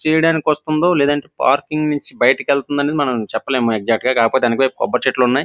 చేయడానికి వస్తుందా లేదు అంటే పార్కింగ్ నుంచి బయటికి వేలుతునదో మనము చెప్పలేము ఎక్సక్టు గ కాకపొతే వేనుక వైపు కొబ్బరి చెట్లు వున్నాయ్.